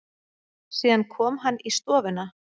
Síðan kom hann í stofuna.